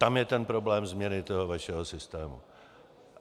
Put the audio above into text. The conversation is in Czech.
Tam je ten problém změny toho vašeho systému.